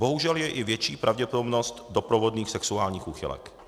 Bohužel je i větší pravděpodobnost doprovodných sexuálních úchylek."